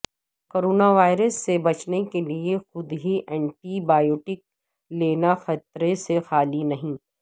coronavirus سے بچنے کےلئے خود ہی اینٹی بائیوٹک لینا خطرے سے خالی نہیں